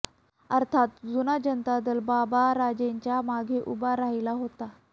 अर्थात जुना जनता दल बाबाराजेच्या मागे उभा राहिला होता